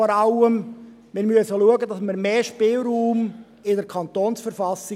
Vor allem müssen wir schauen, dass wir mehr Spielraum in der KV haben.